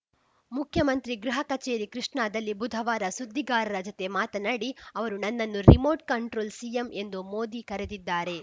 ಮುಖ್ಯಮಂತ್ರಿ ಗೃಹ ಕಚೇರಿ ಕೃಷ್ಣಾದಲ್ಲಿ ಬುಧವಾರ ಸುದ್ದಿಗಾರರ ಜತೆ ಮಾತನಾಡಿ ಅವರು ನನ್ನನ್ನು ರಿಮೋಟ್‌ ಕಂಟ್ರೋಲ್‌ ಸಿಎಂ ಎಂದು ಮೋದಿ ಕರೆದಿದ್ದಾರೆ